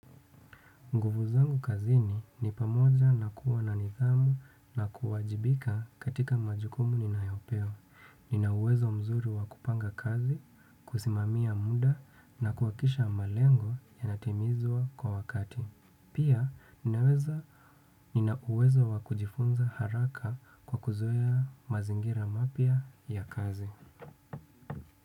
Nguvu zangu kazini ni pamoja na kuwa na nithamu na kuwajibika katika majukumu ninayopewa. Ninauwezo mzuri wa kupanga kazi, kusimamia muda na kuhakikisha malengo yanatimizwa kwa wakati. Pia, ninauwezo wa kujifunza haraka kwa kuzoea mazingira mapya ya kazi.